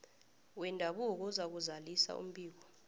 wendabuko uzakuzalisa umbiko